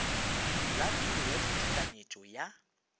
la biro ya ditekanyetšo ya